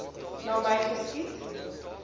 na my geskiet